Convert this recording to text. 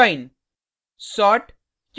splice और join